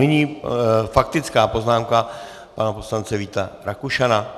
Nyní faktická poznámka pana poslance Víta Rakušana.